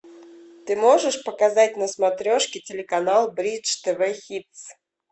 ты можешь показать на смотрешке телеканал бридж тв хитс